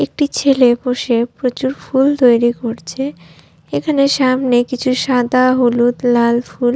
একটি ছেলে বসে প্রচুর ফুল তৈরি করছে এখানে সামনে কিছু সাদা হলুদ লাল ফুল --